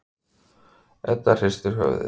Edda hristir höfuðið.